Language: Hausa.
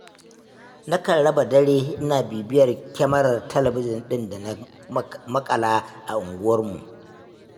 Nakan raba dare ina bibiyar kyamarar talabijin ɗin da na maƙala a unguwarmu.